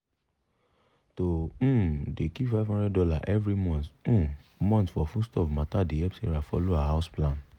to um dey keep 500 dollar every um month for foodstuff matter dey help sarah follow her house plan.